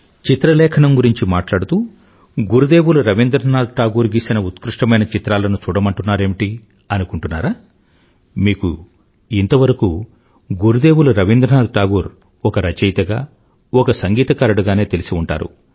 చిత్రలేఖనం గురించి మాట్లాడుతూ గురుదేవులు రవీంద్రనాథ్ ఠాగూర్ గీసిన ఉత్కృష్టమైన చిత్రాలను చూడమంటున్నారేమిటీ అనుకుంటున్నారా మీకు ఇంతవరకు గురుదేవులు రవీంద్రనాథ్ టాగూర్ ఒక రచయితగా ఒక సంగీతకారుడిగానే తెలిసి ఉంటారు